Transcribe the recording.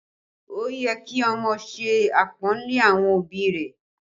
Ó yẹ kí ọmọ ṣe apọnle àwọn òbí rẹ̀